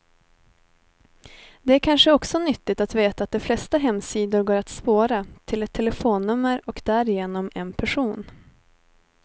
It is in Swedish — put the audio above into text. Det är kanske också nyttigt att veta att de flesta hemsidor går att spåra, till ett telefonnummer och därigenom en person.